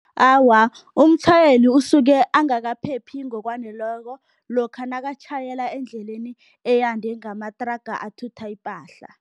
Awa, umtjhayeli usuke angakaphephi ngokwaneleko lokha nakatjhayela endleleni eyande ngamathraga athutha ipahla.